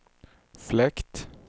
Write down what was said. fläkt